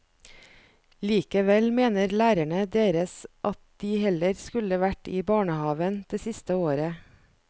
Likevel mener lærerne deres at de heller skulle vært i barnehaven det siste året.